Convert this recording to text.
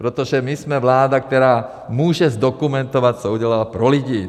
Protože my jsme vláda, která může zdokumentovat, co udělala pro lidi.